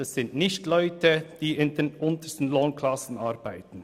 Es geht nicht um Leute in den untersten Lohnklassen.